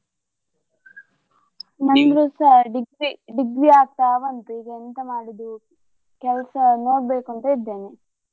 ನಂದುಸ degree, degree ಆಗ್ತಾ ಬಂತು ಈಗ ಎಂತ ಮಾಡುದು ಕೆಲ್ಸ ನೋಡ್ಬೇಕು ಅಂತ ಇದ್ದೇನೆ.